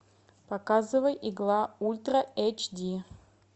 показывай игла ультра эйч ди